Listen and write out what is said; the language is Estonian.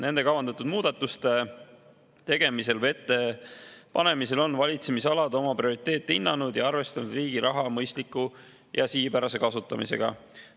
Nende kavandatud muudatuste tegemisel või ettepanemisel on valitsemisalad oma prioriteete hinnanud ja arvestanud riigi raha mõistliku ja sihipärase kasutamisega.